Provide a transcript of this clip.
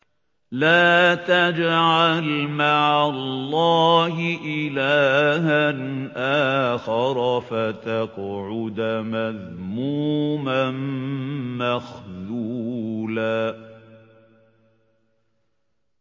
لَّا تَجْعَلْ مَعَ اللَّهِ إِلَٰهًا آخَرَ فَتَقْعُدَ مَذْمُومًا مَّخْذُولًا